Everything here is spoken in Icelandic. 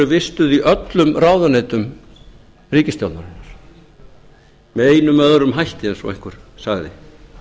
vistuð í öllum ráðuneytum ríkisstjórnarinnar með einum eða öðrum hætti eða eins og einhver sagði